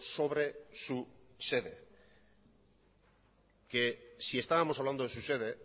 sobre su sede que si estábamos hablando de su sede